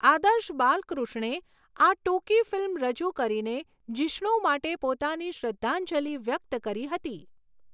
આદર્શ બાલકૃષ્ણે આ ટૂંકી ફિલ્મ રજૂ કરીને જિષ્ણુ માટે પોતાની શ્રદ્ધાંજલિ વ્યક્ત કરી હતી.